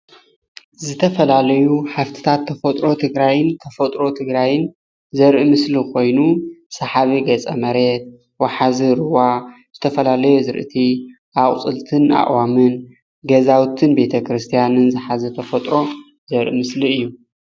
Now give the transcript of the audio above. ዝተፈላለዩ ሃፍትታት ተፈጥሮ ትግራይን ተፈጥሮ ትግራይ ዘርኢ ምስሊ ኮይኑ ሰሓቢ ገፀ መሬት ወሓዚ ሩባ፣ ዝተፈላለየ ኣዝርእቲን ኣቁፅልትን ኣእዋምን ፣ ገዛውትን ቤተ ክርስትያንን ዝሓዘ ሃፍቲ ተፈጥሮ ዘርኢ ምስሊ እዩ፡፡